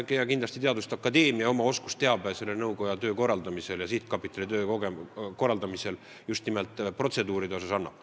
Kindlasti annab teaduste akadeemia oma oskusteabega selle sihtkapitali töö korraldamisse oma panuse, seda just nimelt protseduuride osas.